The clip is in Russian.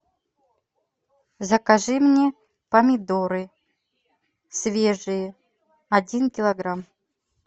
закажи мне помидоры свежие один килограмм